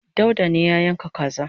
dauda ne ya yanka kanza